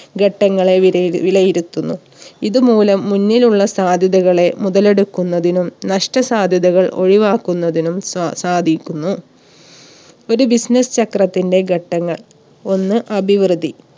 ഘട്ടങ്ങളെ വിലയി വിലയിരുത്തുന്നു. ഇതുമൂലം മുന്നിലുള്ള സാധ്യതകളെ മുതലെടുക്കുന്നതിനും നഷ്ട സാധ്യതകൾ ഒഴിവാക്കുന്നതിനും സ്വ സാധിക്കുന്നു. ഒരു business ചക്രത്തിന്റെ ഘട്ടങ്ങൾ ഒന്ന് അഭിവൃദ്ധി